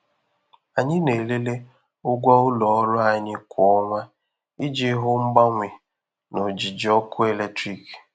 Anyị na-elele ụgwọ ụlọ ọrụ anyị kwa ọnwa iji hụ mgbanwe na ojiji ọkụ eletrik.